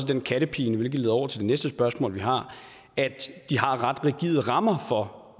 den kattepine hvilket leder over til det næste spørgsmål vi har at de har ret rigide rammer for